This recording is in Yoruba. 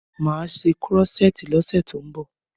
Máa ṣe krọ́ṣẹ́tì lọ́ṣe tí ó ń bọ̀.